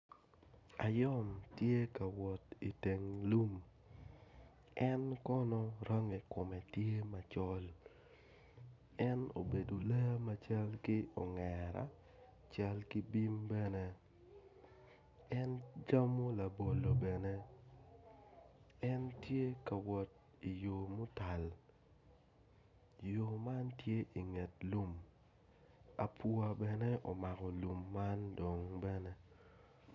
Ayom tye ka wot iteng lum en kono rangi kome tye macol en obedo lee macal ki ongera cal ki bim bene camo labolo bene en tye ka wot i yo mutal yo man tye inget lum abwa bene omako lum man dong bene